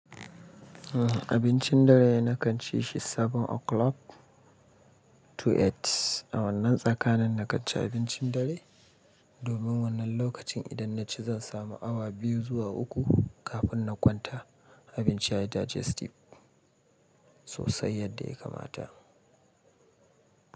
Abincin dare na kan ci shi 7 o'clock to 8. A wannan tsakanin nakan ci abincin dare. Domin wannan lokacin idan na ci, zan samu awa biyu zuwa uku kafin na kwanta. Abinci ya yi digestive sosai yadda ya kamata.